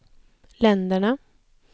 länderna